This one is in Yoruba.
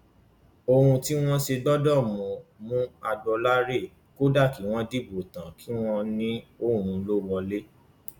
ohun tí wọn ṣe gbọdọ mú mú agboolá rèé kódà kí wọn dìbò tán kí wọn ní òun ló wọlé